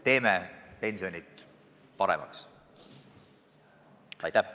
Teeme pensionid paremaks!